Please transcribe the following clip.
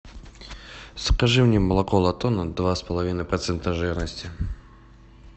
закажи мне молоко латона два с половиной процента жирности